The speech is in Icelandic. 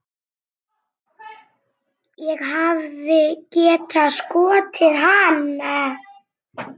Ég hefði getað skotið hann.